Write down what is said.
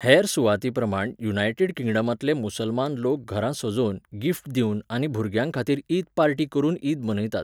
हेर सुवातींप्रमाण युनायटेड किंगडमांतले मुसलमान लोक घरां सजोवन, गिफ्ट दिवन आनी भुरग्यांखातीर ईद पार्टी करून ईद मनयतात.